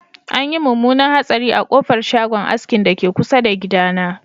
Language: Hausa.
Anyi munmunan hatsari a kofar shagon askin dake kusa da gidana